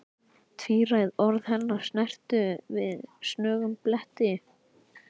Tvíræð orð hennar snertu við snöggum bletti.